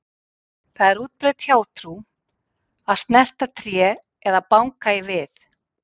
Það er útbreidd hjátrú að snerta tré eða banka í við.